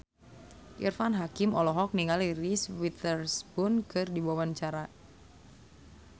Irfan Hakim olohok ningali Reese Witherspoon keur diwawancara